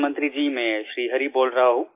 प्रधानमंत्री जी मैं श्री हरि बोल रहा हूँ